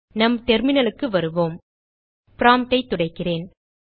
நம் terminalக்கு வருவோம் promptஐ துடைக்கிறேன்